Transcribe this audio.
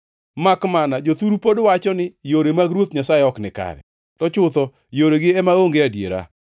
“Makmana jothuru pod wacho ni, ‘Yore mag Ruoth Nyasaye ok nikare!’ To chutho yoregi ema onge adiera.